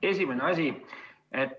Esimene asi.